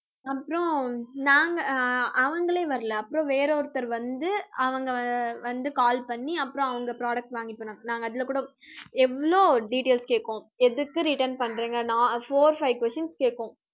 அப்புறம் நாங்க அஹ் அவங்களே வரலை அப்புறம் வேற ஒருத்தர் வந்து, அவங்க ஆஹ் வந்து call பண்ணி அப்புறம் அவங்க products வாங்கிட்டு போனாங்க. நாங்க அதுல கூட எவ்வளவு details கேட்போம். எதுக்கு return பண்றீங்கன்னா four five questions கேக்கும்